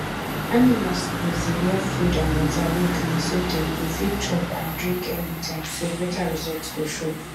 animals suppose dey get food and water wey clean so dem go fit chop and drink anytimeso better result go show